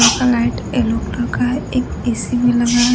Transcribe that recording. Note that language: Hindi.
हल्का लाइट येलो कलर का है एक ए_सी भी लगा है।